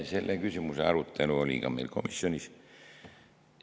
Selle küsimuse arutelu oli ka meil komisjonis.